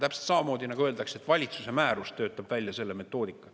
Täpselt samamoodi nagu öeldakse, et valitsuse määrus töötab välja selle metoodika.